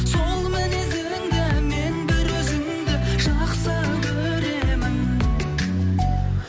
сол мінезіңді мен бір өзіңді жақсы көремін